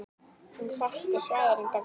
Hann þekkti svæðið reyndar vel.